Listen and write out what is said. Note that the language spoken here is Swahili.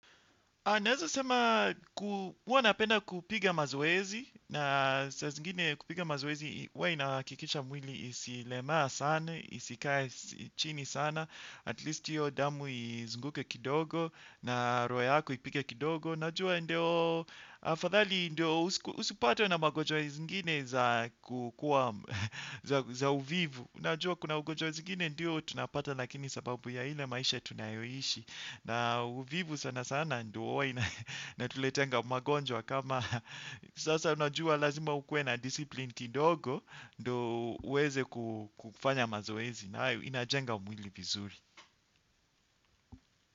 Naweza sema huwa napenda kupiga mazoezi, na saa zingine kupiga mazoezi huwa inahakikisha mwili isilemaa sana, isikae chini sana. At least hiyo damu izunguke kidogo na roho yako ipige kidogo. Najua ndio, afadhali ndio usipatwe na magojwa zingine za kukua, za uvivu. Najua kuna ugojwa zingine ndio tunapata lakini sababu ya ile maisha tunayoishi. Na uvivu sana sana ndio huwa inatuleteanga magonjwa kama, sasa unajua lazima ukue na disipline kidogo ndo uweze kufanya mazoezi nayo inajenga mwili vizuri.